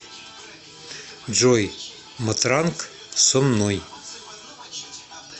джой матранг со мной